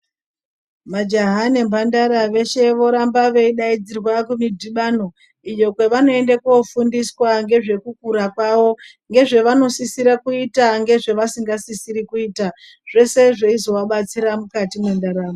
Majaha nemhandara veshe voramba veidaidzirwa kumudhibano iyo kwevanoende kofundiswa nvezvekukura kwavo ngezvevanosisire kuita ngezvevasingasisiri kuita zvese zveizoabatsira mukati mwendaramo.